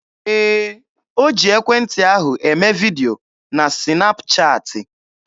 Ee, o ji ekwentị ahụ eme vidio na sịnap chaatị.